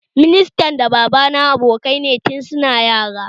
Ministan da baba na abokai ne tun su na yara